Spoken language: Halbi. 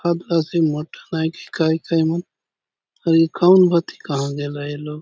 खादला से मटन आय की काय कायनुक आरे खाहुन भाति कहा गेला ए लोक।